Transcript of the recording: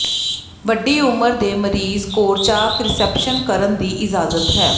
ਵੱਡੀ ਉਮਰ ਦੇ ਮਰੀਜ਼ ਕੋਰਚਾਕ ਰਿਸੈਪਸ਼ਨ ਕਰਨ ਦੀ ਇਜਾਜ਼ਤ ਹੈ